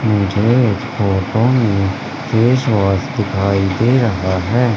मुझे इस फोटो में फेस वॉश दिखाई दे रहा है।